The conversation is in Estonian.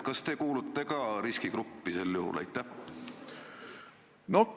Kas teie kuulute ka sel juhul riskigruppi?